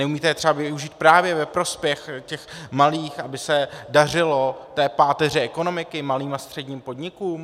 Neumíte je třeba využít právě ve prospěch těch malých, aby se dařilo té páteři ekonomiky - malým a středním podnikům?